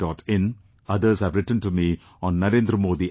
in, others have written to me on NarendraModiApp